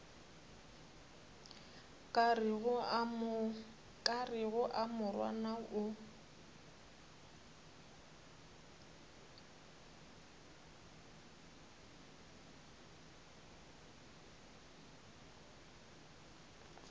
ka rego a morwana o